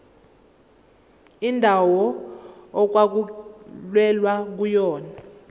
indawo okwakulwelwa kuyona